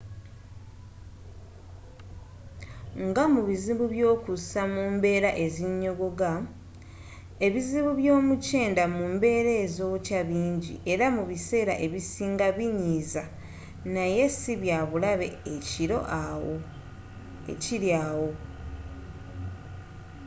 ngamubizibu by'okussa mu mbeera ezinyogoga ebizibu byomukyenda mu mbeera ezookya bingi era mu biseera ebisinga binyiiza naye sibyabulabe ekiri awo